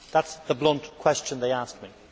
That is the blunt question they asked me.